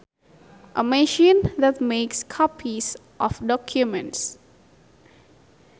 A machine that makes copies of documents